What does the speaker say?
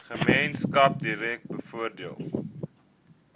gemeenskap direk bevoordeel